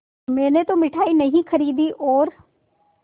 मैंने तो मिठाई नहीं खरीदी और